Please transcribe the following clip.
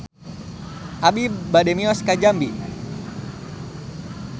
Abi bade mios ka Jambi